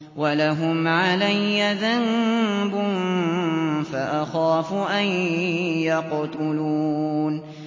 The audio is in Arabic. وَلَهُمْ عَلَيَّ ذَنبٌ فَأَخَافُ أَن يَقْتُلُونِ